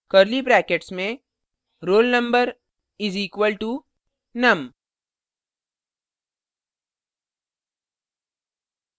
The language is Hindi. curly brackets में roll _ number is equalto num